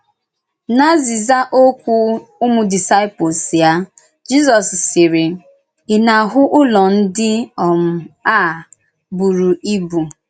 N’azị̀zà òkwú ụmụ̀ díscíplès ya, Jisọ́s sị̀rì: “Ì na-ahụ̀ Ụ́lọ̀ ndí um a bùrù ìbù?